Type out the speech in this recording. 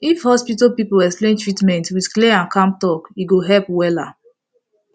if hospital people explain treatment with clear and calm talk e go help wella